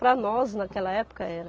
Para nós, naquela época, era.